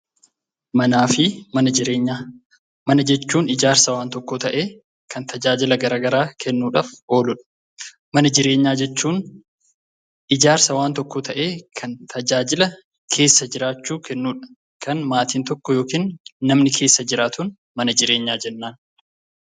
Manaa fi mana jireenyaa. Mana jechuun ijaarsa waan tokkoo ta'ee kan tajaajila gara garaa kennuudhaf ooludha. Mana jireenyaa jechuun ijaarsa waan tokkoo ta'ee kan tajaajila keessa jiraachuu kennudha. Kan maatin tokko yookin namni keessa jiraatuun mana jireenyaa jennaan.